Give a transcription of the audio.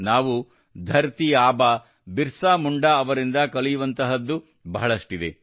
ನಾವು ಧರತೀ ಆಬಾ ಬಿರ್ಸಾ ಮುಂಡಾ ಅವರಿಂದ ಕಲಿಯುವಂತಹದ್ದು ಬಹಳಷ್ಟಿದೆ